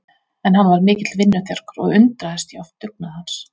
En hann var mikill vinnuþjarkur og undraðist ég oft dugnað hans.